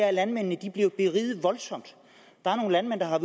at landmændene bliver beriget voldsomt der er nogle landmænd der har